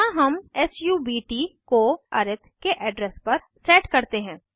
यहाँ हम सब्ट को अरिथ के एड्रेस पर सेट करते हैं